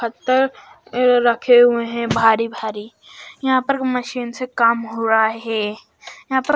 पत्थर रखे हुए हैं भारी भारी यहां पर मशीन से कम हो रहा है यहां पर--